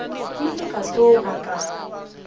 ke ile ka tsoga ka